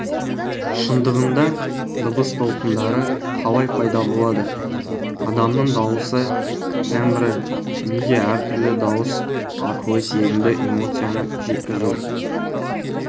шындығында дыбыс толқындары қалай пайда болады адамның дауысы тембрі неге әртүрлі дауыс арқылы сезімді эмоцияны жеткізу